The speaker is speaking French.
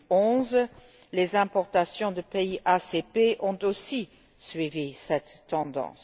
2011. Les importations de pays ACP ont aussi suivi cette tendance.